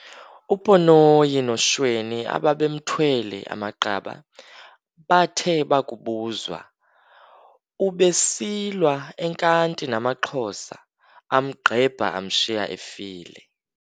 UPonoyi noShweni ababemthwele, amaqaba, bathe bakubuzwa- "Ubesilwa enkanti namaXhosa, amgqebha amshiya efile.